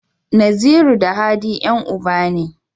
Naziru da Hadi Yan uba ne